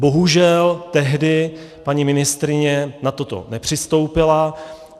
Bohužel tehdy paní ministryně na toto nepřistoupila.